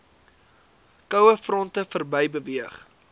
kouefronte verby beweeg